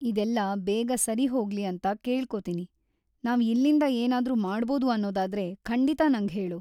ಇದೆಲ್ಲ ಬೇಗ ಸರಿಹೋಗ್ಲಿ ಅಂತ ಕೇಳ್ಕೊತೀನಿ; ನಾವ್‌ ಇಲ್ಲಿಂದ ಏನಾದ್ರೂ ಮಾಡ್ಬೋದು ಅನ್ನೋದಾದ್ರೆ ಖಂಡಿತ ನಂಗ್ ಹೇಳು.